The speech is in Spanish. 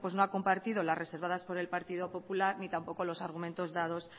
no ha compartido las reservadas por el partido popular ni tampoco los argumentos dados